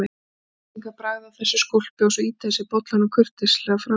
Útlendingar bragða á þessu skólpi og svo ýta þeir bollanum kurteislega frá sér.